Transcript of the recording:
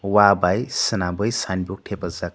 wha bai semanboi sign board tepajak.